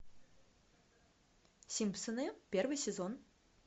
симпсоны первый сезон